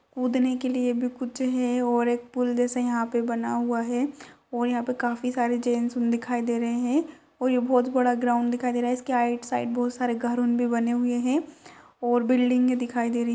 कूदने के लिए भी कुछ है और एक पूल जैसे यहाँ पे बना हुआ है और यहाँ पे काफी सारे जेंट्स दिखाई दे रहे है और ये बहोत बड़ा ग्राउंड दिखाई दे रहा है इसके आइट साइड बहोत सारे घर उन भी बने हुए है और बिल्डिंगे दिखाई दे रही --